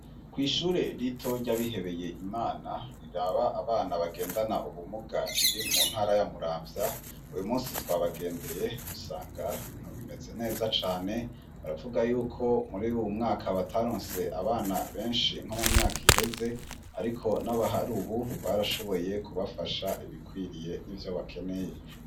Kw'ishure lito ryabihebeye imana niraba abana bagendana ubumuga riri mu ntara yamuramvya uyu musi twabagendeye dusanga bintu bimeze neza cane baravuga yuko muri uwu mwaka batarunse abana benshi nko mu myaka iheze, ariko n'abahari, ubu barashoboye kubafasha ibikwiriye n'ivyo bakeneye.